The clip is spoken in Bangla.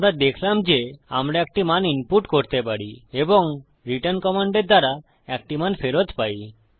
আমরা দেখলাম যে আমরা একটি মান ইনপুট করতে পারি এবং তারপর রিটার্ন কমান্ডের দ্বারা একটি মান ফেরত পাই